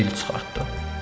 Və dil çıxartdı.